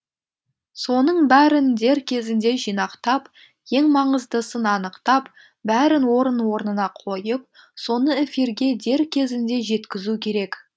соның бәрін дер кезінде жинақтап ең маңыздысын анықтап бәрін орын орнына қойып соны эфирге дер кезінде жеткізу керек